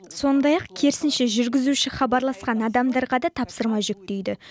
сондай ақ керісінше жүргізуші хабарласқан адамдарға да тапсырма жүктейді